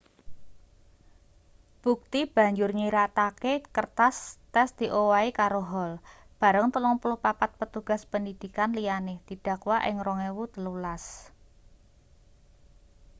bukti banjur nyiratake kertas tes diowahi karo hall bareng 34 petugas pendidikan liyane didakwa ing 2013